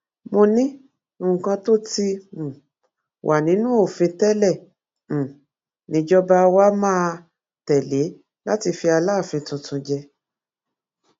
mo ní nǹkan tó ti um wà nínú òfin tẹlẹ um níjọba wa máa tẹlé láti fi aláàfin tuntun jẹ